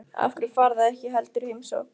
Af hverju farið þið ekki heldur í heimsókn?